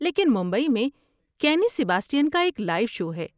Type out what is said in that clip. لیکن ممبئی میں کینی سیباسٹین کا ایک لائیو شو ہے۔